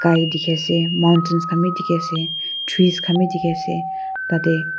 gai dikhi ase mountains khan bi dikhi ase trees Khan bi dikhi ase tate--